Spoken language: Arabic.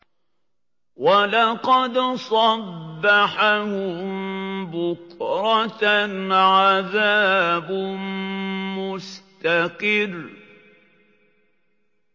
وَلَقَدْ صَبَّحَهُم بُكْرَةً عَذَابٌ مُّسْتَقِرٌّ